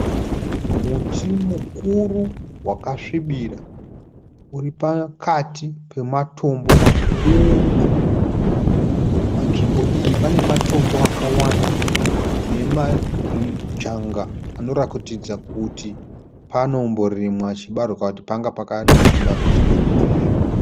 Muti mukuru wakasvibira uri pakati pematombo makuru. Panzvimbo iyi pane matombo akawanda ne majanga anoratidza kuti panomborimwa chibarwe kana kuti panga pakarimwa chibarwe chikakohwiwa.